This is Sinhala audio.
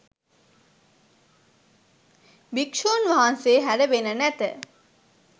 භික්ෂූන් වහන්සේ හැර වෙන නැත.